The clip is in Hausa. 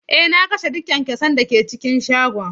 Eh, na kashe duk kyankyasan da ke cikin shagon.